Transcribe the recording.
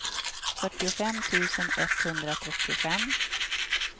fyrtiofem tusen etthundratrettiofem